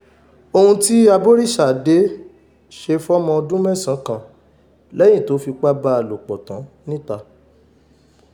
ohun tí aboríṣàdé ṣe fọ́mọ ọdún mẹ́sàn-án kan lẹ́yìn tó fipá bá a lò pọ̀ tán nìta